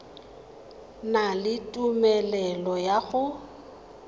na le tumelelo ya go